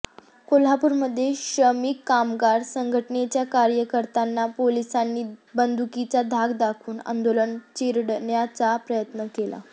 कोल्हापूरमध्ये श्रमिक कामगार संघटनेच्या कार्यकर्त्यांना पोलीसांनी बंदुकीचा धाक दाखवून आंदोलन चिरडण्याचा प्रयत्न केला